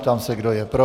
Ptám se, kdo je pro.